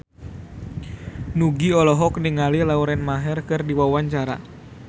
Nugie olohok ningali Lauren Maher keur diwawancara